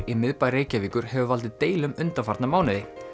í miðbæ Reykjavíkur hefur valdið deilum undanfarna mánuði